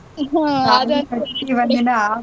ಹ್ಮ್ .